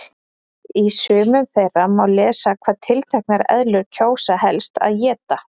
Í sumum þeirra má lesa hvað tilteknar eðlur kjósa helst að éta.